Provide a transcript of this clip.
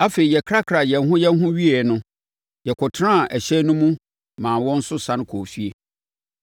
Afei, yɛkrakraa yɛn ho yɛn ho wieeɛ no, yɛkɔtenaa ɛhyɛn no mu maa wɔn nso sane kɔɔ efie.